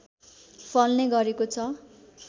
फल्ने गरेको छ